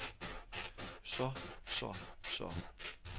så så så